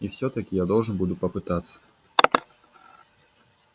и всё-таки я должен буду попытаться